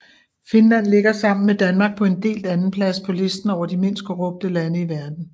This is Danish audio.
Finland ligger sammen med Danmark på en delt andenplads på listen over de mindst korrupte lande i verden